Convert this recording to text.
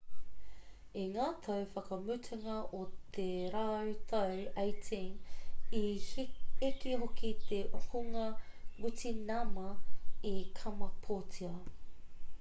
i ngā tau whakamutunga o te rautau 18 i eke hoki te hunga witināma i kamapōtia